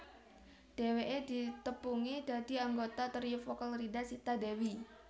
Dhèwèké ditepungi dadi anggota trio vokal Rida Sita Dewi